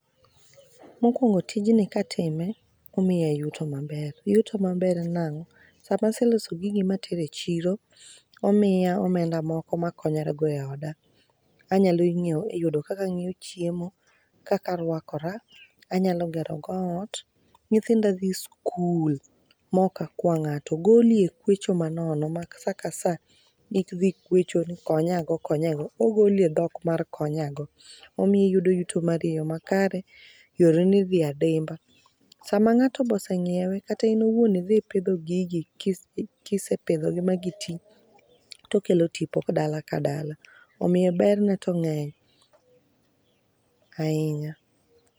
Mokwongo tij ni katime omiya yuto maber, yuto maber nang'o: sama aseloso gigi matere chiro omiya omenda moko makonyora godo e oda anyalo nyiewo yudo kaka anyiewo chiemo , kaka arwakora anyalo gero go ot, nyithinda dhi skul mok akwa ng'ato goli e kwecho manono, ma sa ka saa idhi kweche ni konya go konya go ogoli e dhok mar konya go. Omiyi yudo yuto mar e yoo makare yoreni dhi e dimba. Sama ng'ato boseng'iewe kata in iwuon idhi ipidho gigi ka isepidho gi ka gisetii gikelo tipo dala ka dala omiyo ber ne to ng'eny ahinya.